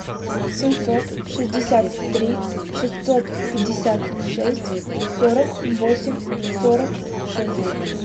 семьсот шестьдесят три шестьсот пятьдесят шесть сорок восемь сорок шесть